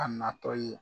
A natɔ ye